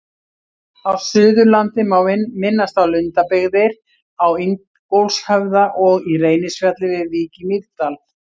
Á Suðurlandi má minnast á Lundabyggðir á Ingólfshöfða og í Reynisfjalli við Vík í Mýrdal.